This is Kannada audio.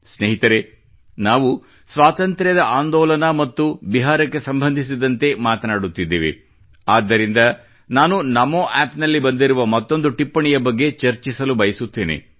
ಸ್ನೇಹಿತರೆ ನಾವು ಸ್ವಾತಂತ್ರ್ಯದ ಆಂದೋಲನ ಮತ್ತು ಬಿಹಾರಕ್ಕೆ ಸಂಬಂಧಿಸಿದಂತೆ ಮಾತನಾಡುತ್ತಿದ್ದೇವೆ ಆದ್ದರಿಂದ ನಾನು ನಮೋ ಆಪ್ ನಲ್ಲಿ ಬಂದಿರುವ ಮತ್ತೊಂದು ಟಿಪ್ಪಣಿಯ ಬಗ್ಗೆ ಚರ್ಚಿಸಲು ಬಯಸುತ್ತೇನೆ